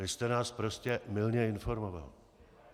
Vy jste nás prostě mylně informoval.